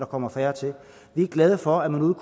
kommer færre til vi er glade for at man ude